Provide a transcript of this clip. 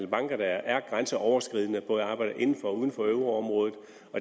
banker der er grænseoverskridende og både arbejder inden for og uden for euroområdet